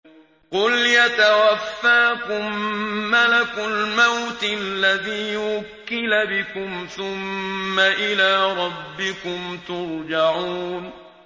۞ قُلْ يَتَوَفَّاكُم مَّلَكُ الْمَوْتِ الَّذِي وُكِّلَ بِكُمْ ثُمَّ إِلَىٰ رَبِّكُمْ تُرْجَعُونَ